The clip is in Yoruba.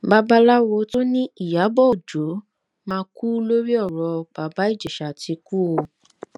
babaláwo tó ní ìyàbọ ọjọ máa kú lórí ọrọ baba ìjèṣà ti kú o